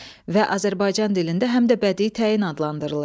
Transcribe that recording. Və Azərbaycan dilində həm də bədii təyin adlandırılır.